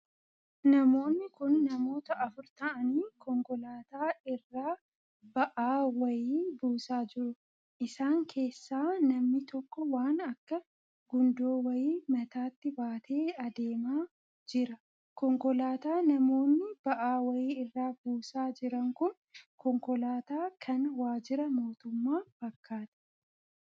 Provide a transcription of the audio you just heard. Namoonni kun namoota afur ta'anii konkolaataa irraa ba'aa wayii buusaa jiru. isaan keessaa namni tokko waan akka gundoo wayii mataatti baatee Adeema jira. konkolaataa namoonni baa'aa wayii irraa buusaa jiran kun konkolaataa kan waajjira mootummaa fakkaata.